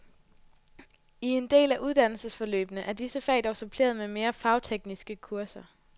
I en del af uddannelsesforløbene er disse fag dog suppleret med mere fagtekniske kurser.